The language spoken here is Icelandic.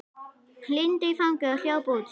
Lindu í fangið og hljóp út.